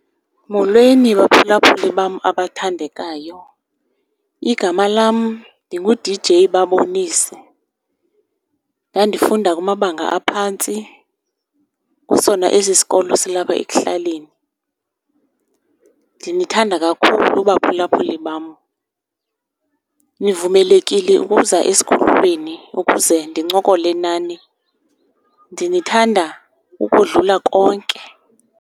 Molweni baphulaphuli bam abathandekayo. Igama lam ndingu-D_J Babonise. Ndandifunda kumabanga aphantsi kusona esi sikolo silapha ekuhlaleni. Ndinithanda kakhulu baphulaphuli bam, nivumelekile ukuza esikhululweni ukuze ndincokole nani. Ndinithanda ukudlula konke.